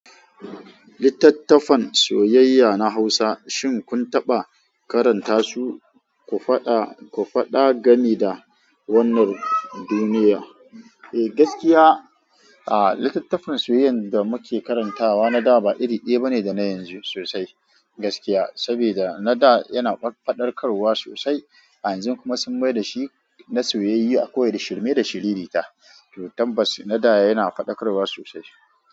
Littattafan soyayya na Hausa shin kun taɓa karanta su?, ku faɗa, ku faɗa game da wannan duniya. Eh gaskiya, a littattafan soyayyar da muke karantawa na da ba iri ɗaya ba ne da na yanzu sosai. Gaskiya, saboda na da yana faɗakarwa sosai a yanzu kuma sun mai da shi na soyayya akwai da shirme da shiriri ta. To tabass nada yana faɗakarwa sosai.